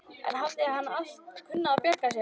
En hann hafði alltaf kunnað að bjarga sér.